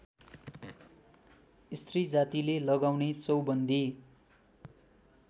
स्त्रीजातिले लगाउने चौबन्दी